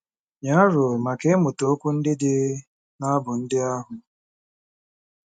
Nye aro maka ịmụta okwu ndị dị n'abụ ndị ahụ.